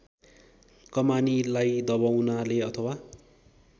कमानीलाई दबाउनाले अथवा